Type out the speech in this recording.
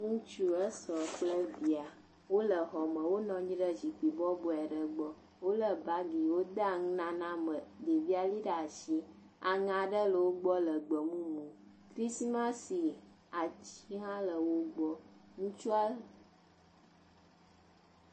Ŋutsu, esrɔ̃ kple via, wole exɔ me, wonɔ anyi ɖe zikpui bɔbɔe aɖe gbɔ, wolé bagi yi wodea nunana me, ɖevia lé ɖe asi, aŋe aɖe le wo gbɔ le gbe mumu, krisimasi ati hã le wo gbɔ, ŋutsua…